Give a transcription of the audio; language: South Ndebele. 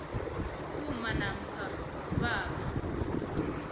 umma namkha ubaba